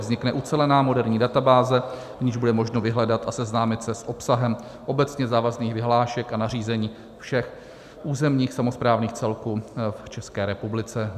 Vznikne ucelená moderní databáze, v níž bude možno vyhledat a seznámit se s obsahem obecně závazných vyhlášek a nařízení všech územních samosprávných celků v České republice.